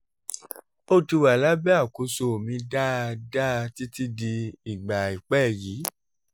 ó ti wà lábẹ́ àkóso mi dáadáa títí di ìgbà àìpẹ́ yìí